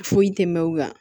Foyi tɛ mɛn u la